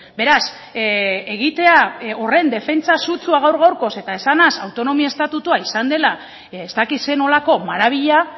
beraz egitea horren defentsa sutsua gaur gaurkoz eta esanaz autonomia estatutua izan dela ez dakit zer nolako maravilla